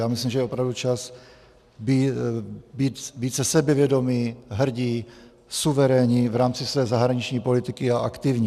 Já myslím, že je opravdu čas být více sebevědomí, hrdí, suverénní v rámci své zahraniční politiky a aktivní.